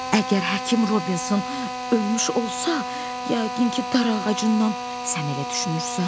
Əgər həkim Robinson ölmüş olsa, yəqin ki, darağacından Sən elə düşünürsən?